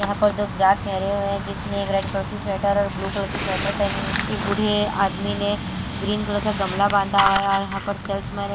यहां पर दो ग्राहक खेरे हुए हैं जिसने एक रेड कलर की स्वेटर और ब्लू कलर की स्वेटर पहनी एक बूढ़े आदमी ने ग्रीन कलर का गमला बांधा हुआ हैऔर यहां पर चर्च में --